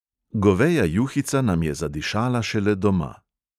Goveja juhica nam je zadišala šele doma.